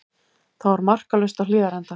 Þá er markalaust á Hlíðarenda